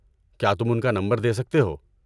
کیا تم ان کا نمبر دے سکتے ہو؟